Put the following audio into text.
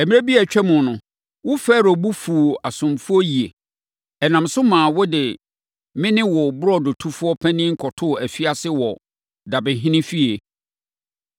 Mmerɛ bi a atwam no, wo Farao bo fuu wʼasomfoɔ yie. Ɛnam so maa wode me ne wo burodotofoɔ panin kɔtoo afiase wɔ dabehene fie.